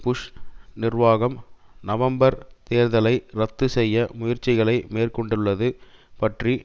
push நிர்வாகம் நவம்பர் தேர்தல்ளை இரத்து செய்ய முயற்சிகளை மேற்கொண்டுள்ளது பற்றி